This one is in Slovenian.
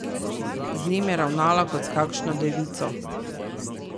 Z njim je ravnala kot s kakšno devico.